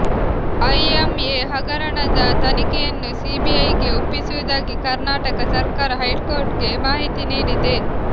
IMA ಹಗರಣದ ತನಿಖೆಯನ್ನು ಸಿಬಿಐಗೆ ಒಪ್ಪಿಸುವುದಾಗಿ ಕರ್ನಾಟಕ ಸರ್ಕಾರ ಹೈಕೋರ್ಟ್ಗೆ ಮಾಹಿತಿ ನೀಡಿದೆ